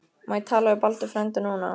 Má ég tala við Baldur frænda núna?